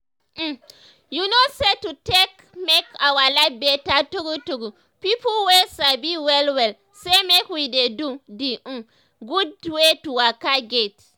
um you know say to take um make our life better true true pipo wey sabi well well say make we dey do d um gud wey to waka get.